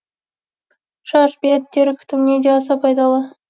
шаш бет тері күтіміне де аса пайдалы